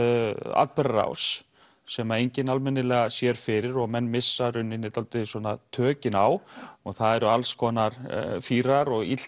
atburðarás sem enginn almennilega sér fyrir og menn missa í rauninni dálítið tökin á og það eru alls konar fýrar og